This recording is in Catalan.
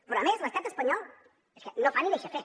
però a més l’estat espanyol no fa ni deixa fer